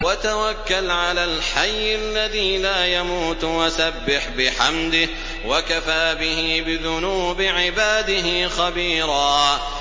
وَتَوَكَّلْ عَلَى الْحَيِّ الَّذِي لَا يَمُوتُ وَسَبِّحْ بِحَمْدِهِ ۚ وَكَفَىٰ بِهِ بِذُنُوبِ عِبَادِهِ خَبِيرًا